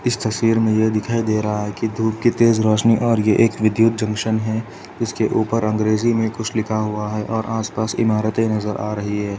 इस तस्वीर यह दिखाई दे रहा है कि धूप की तेज रोशनी और यह एक विधुत जंक्शन है जिसके ऊपर अंग्रेजी मे कुछ लिखा हुआ और आस पास इमारतें नजर आ रही है।